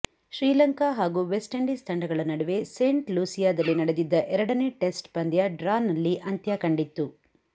ಶ್ರೀಲಂಕಾ ಹಾಗೂ West Indies ತಂಡಗಳ ನಡುವೆ ಸೇಂಟ್ ಲೂಸಿಯಾದಲ್ಲಿ ನಡೆದಿದ್ದ ಎರಡನೇ ಟೆಸ್ಟ್ ಪಂದ್ಯ ಡ್ರಾನಲ್ಲಿ ಅಂತ್ಯ ಕಂಡಿತ್ತು